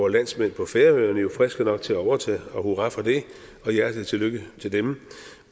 landsmænd på færøerne jo friske nok til at overtage og hurra for det og hjertelig tillykke til dem